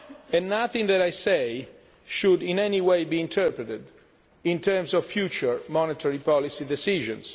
and nothing that I say should in any way be interpreted in terms of future monetary policy decisions.